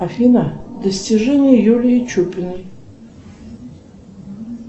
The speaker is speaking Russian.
афина достижения юлии чупиной